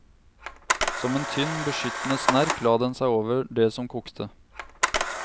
Som en tynn, beskyttende snerk la den seg over det som kokte.